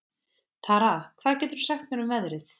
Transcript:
Tara, hvað geturðu sagt mér um veðrið?